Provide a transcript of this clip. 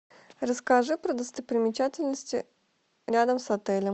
расскажи про достопримечательности рядом с отелем